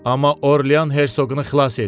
Amma Orlyan Herşoqunu xilas eləyin.